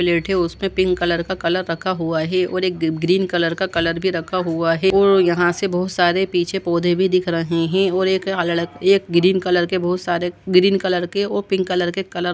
प्लेटे उस पर पिंक कलर का कलर रखा हुआ है और एक ग्रीन कलर का कलर भी रखा हुआ है और यहां से बहुत सारे पीछे पौधे भी दिख रहे है और एक ग्रीन कलर के बहुत सारे ग्रीन कलर और पिंक कलर --